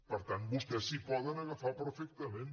per tant vostès s’hi poden agafar perfectament